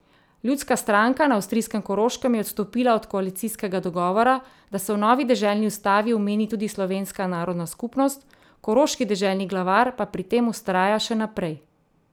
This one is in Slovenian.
Ljudska stranka na avstrijskem Koroškem je odstopila od koalicijskega dogovora, da se v novi deželni ustavi omeni tudi slovenska narodna skupnost, koroški deželni glavar pa pri tem vztraja še naprej.